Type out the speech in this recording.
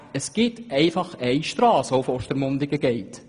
Es gibt einfach eine Strasse, welche nach Ostermundigen führt.